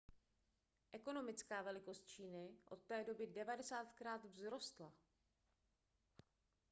ekonomická velikost číny od té doby 90krát vzrostla